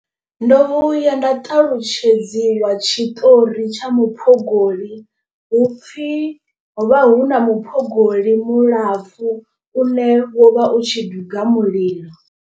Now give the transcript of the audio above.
Ndo vhuya nda ṱalutshedziwa tshiṱori tsha muphogoli, hupfi ho vha hu na muphogoli mulapfu une wo vha u tshi duga mulilo.